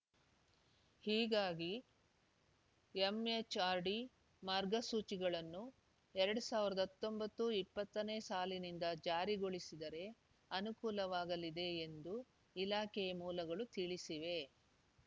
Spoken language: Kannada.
ಹೀಗಾಗಿ ಎಂಎಚ್‌ಆರ್‌ಡಿ ಮಾರ್ಗಸೂಚಿಗಳನ್ನು ಎರಡ್ ಸಾವಿರದ ಹತ್ತೊಂಬತ್ತು ಇಪ್ಪತ್ತನೇ ಸಾಲಿನಿಂದ ಜಾರಿಗೊಳಿಸಿದರೆ ಅನುಕೂಲವಾಗಲಿದೆ ಎಂದು ಇಲಾಖೆ ಮೂಲಗಳು ತಿಳಿಸಿವೆ